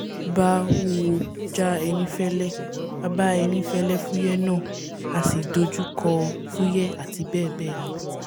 bá wúwo jà ẹní fẹ́lẹ́ a bá ẹni fẹ́lẹ́ fúyẹ́ náà a sì dojúkọ fúyẹ àti bẹ́ẹ̀ bẹ́ẹ̀ lọ